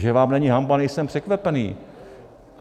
Že vám není hanba, nejsem překvapený.